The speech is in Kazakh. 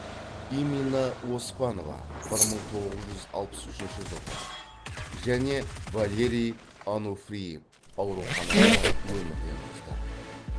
имина оспанова бір мың тоғыз жүз алпыс үшінші жылғы және валерий ануфриев ауруханада өмірден озды